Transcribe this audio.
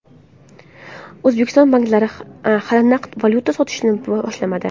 O‘zbekiston banklari hali naqd valyuta sotishni boshlamadi.